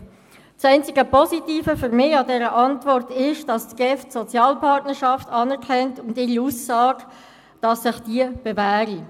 Das einzig Positive an dieser Antwort ist für mich, dass die GEF die Sozialpartnerschaft anerkennt sowie ihre Aussage, dass sich diese bewähre.